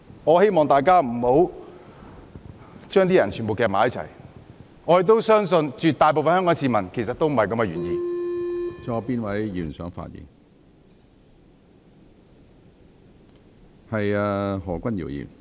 我希望大家不要把所有人捆綁在一起，我亦相信絕大部分香港市民的原意不是這樣。